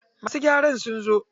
Masu gyara sun zo.